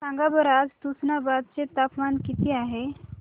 सांगा बरं आज तुष्णाबाद चे तापमान किती आहे